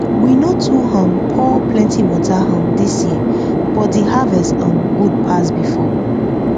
we no too um pour plenty water um this year but the harvest um good pass before